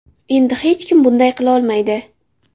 Endi hech kim bunday qilolmaydi.